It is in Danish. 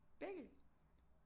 Begge